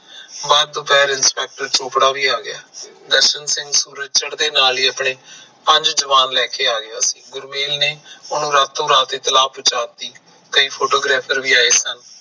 ਬਾਹਰ inspector ਚੋਪੜਾ ਵੀ ਆ ਗਿਆ ਦਰਸ਼ਨ ਸਿੰਘ ਸੂਰਜ ਚੜਦਿਆਂ ਆਪਣੇ ਪੰਜ ਜਵਾਨ ਲੈ ਕੇ ਆ ਗਏ ਗੁਰਮੇਲ ਨੇ ਉਹਨੂੰ ਰਾਤੋ ਰਾਤ ਇਤਲਾਹ ਪਹੁੰਚਾਤੀ ਕਈ photographer ਵੀ ਆਏ ਸਨ